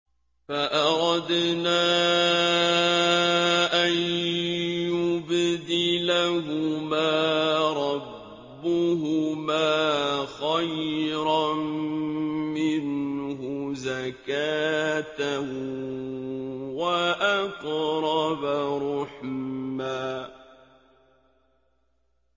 فَأَرَدْنَا أَن يُبْدِلَهُمَا رَبُّهُمَا خَيْرًا مِّنْهُ زَكَاةً وَأَقْرَبَ رُحْمًا